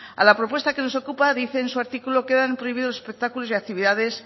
a la propuesta que nos ocupa dice en su artículo quedan prohibidos los espectáculos y actividades